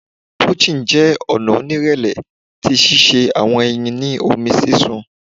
poaching jẹ ọna onirẹlẹ ti sise awọn eyin ni omi sisun